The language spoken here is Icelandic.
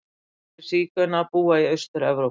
Flestir sígaunar búa í Austur-Evrópu.